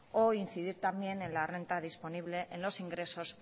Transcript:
o incidir también en la renta disponible en los ingresos